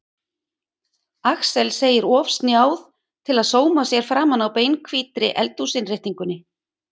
Axel segir of snjáð til að sóma sér framan á beinhvítri eldhúsinnréttingunni.